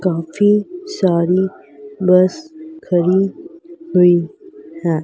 काफी सारी बस खड़ी हुई हैं।